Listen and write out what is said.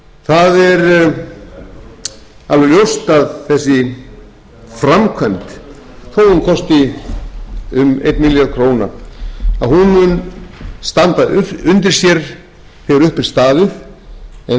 kosti um einn milljarð króna mun standa undir sér þegar upp er staðið en það er